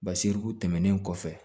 Basiriku tɛmɛnen kɔfɛ